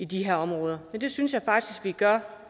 de her områder men det synes jeg faktisk vi gør